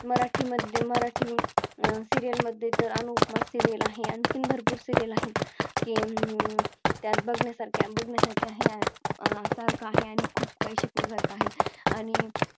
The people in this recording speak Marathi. मराठी मध्ये मराठी अह Serial मध्ये तर अनुपमा Serial आहे. आणखीन भरपूर Serial आहेत की हम्म मग त्यात बघण्यासारखे आहे आणि खूप काही शिकण्यासारखं आहे आणि